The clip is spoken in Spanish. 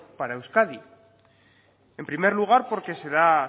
para euskadi en primer lugar porque se da